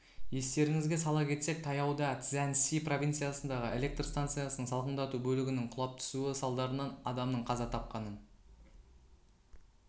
естеріңізге сала кетсек таяуда цзянси провинциясындағы электр станциясының салқындату бөлігінің құлап түсуі салдарынан адамның қаза тапқанын